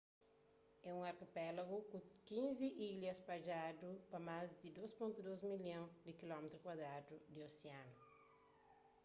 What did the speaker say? é un arkipelagu ku 15 ilha spadjadu pa más di 2.2 milhon di km2 di osianu